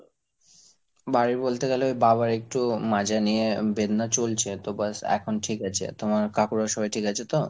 বাড়ির বলতে গেলে ওই বাবার একটু মাজা নিয়ে বেদনা চলছে, তো ব্যাস এখন ঠিক আছে। তোমার কাকুরা সবাই ঠিক আছে তো?